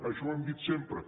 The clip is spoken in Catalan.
això ho hem dit sempre